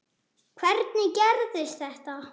Hvernig gerirðu þetta?